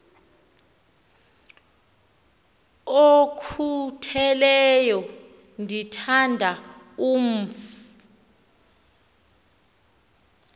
okhutheleyo ndithanda umf